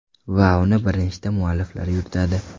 Va uni bir nechta mualliflar yuritadi.